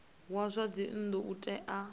wa zwa dzinnu u tea